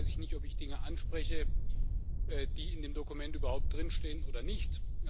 Von daher weiß ich nicht, ob ich Dinge anspreche, die in dem Dokument überhaupt drin stehen oder nicht.